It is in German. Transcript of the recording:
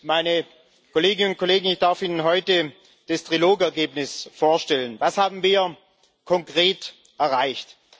Meine Kolleginnen und Kollegen, ich darf Ihnen heute das Trilogergebnis vorstellen Was haben wir konkret erreicht?